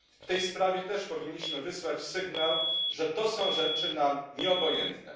W tej sprawie też powinniśmy wysłać sygnał, że to są rzeczy nam nieobojętne.